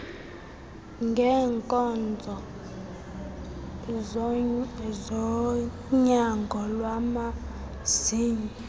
ngeenkonzo zonyango lwamazinyo